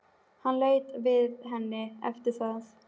Hann leit ekki við henni eftir það.